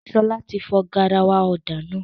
Ṣọlá ti fọ garawa ọ̀dà náà